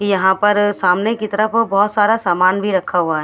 यहाँ पर सामने की तरफ बोहोत सारा सामान भी रहा हुआ है।